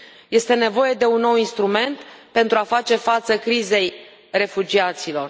Este nevoie de un nou instrument pentru a face față crizei refugiaților.